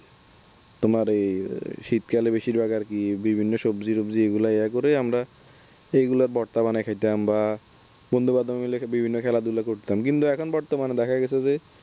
তোমার এই শীতকালে বেশিরভাগ আরকি বিভিন্ন সবজি টব্জি এগুলো ইয়া করে আমরা এগুলা ভর্তা বানাইয়া খাইতাম বা বন্ধু-বান্ধব মিলে বিভিন্ন খেলাধুলা করতাম কিন্তু এখন বর্তমানে দেখা গেছে যে